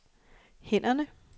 hænderne